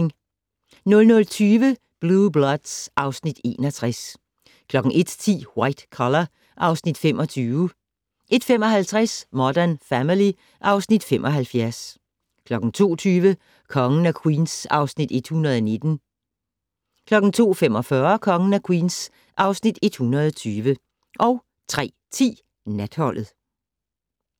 00:20: Blue Bloods (Afs. 61) 01:10: White Collar (Afs. 25) 01:55: Modern Family (Afs. 75) 02:20: Kongen af Queens (Afs. 119) 02:45: Kongen af Queens (Afs. 120) 03:10: Natholdet